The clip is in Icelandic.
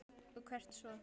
Og hvert svo?